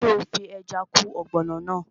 Ṣé o fi ẹja kún ọ̀gbọ̀nọ̀ náà?